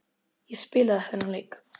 Ég spilaði þennan leik.